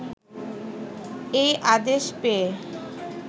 এ আদেশ পেয়ে